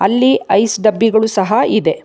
ಇಲ್ಲಿ ಐಸ್ ಡಬ್ಬಿ ಗಳು ಸಹ ಇದೆ.